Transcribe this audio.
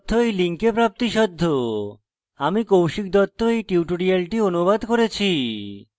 আমি কৌশিক দত্ত এই টিউটোরিয়ালটি অনুবাদ করেছি